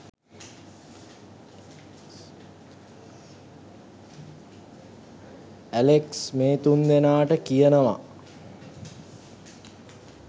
Alex මේ තුන් දෙනාට කියනවා